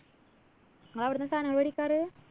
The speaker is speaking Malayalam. ഇങ്ങളവിടുന്നാ സാനങ്ങള് വേടിക്കാറ്?